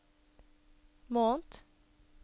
måned